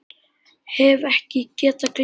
Hef ekki getað gleymt því.